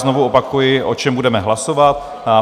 Znovu opakuji, o čem budeme hlasovat.